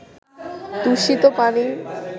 দূষিত পানি